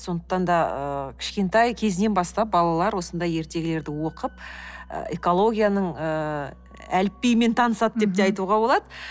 сондықтан да ыыы кішкентай ыыы кезінен бастап балалар осындай ертегілерді оқып экологияның ыыы әліпбиімен танысады деп те айтуға болады